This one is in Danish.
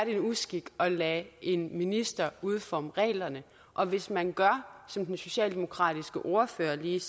en uskik at lade en minister udforme reglerne og hvis man gør som den socialdemokratiske ordfører lige